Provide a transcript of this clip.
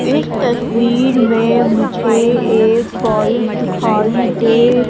इस तस्वीर में मुझे एक बल्ब दिखाई दे--